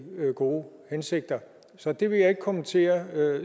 gode hensigter så det vil jeg ikke kommentere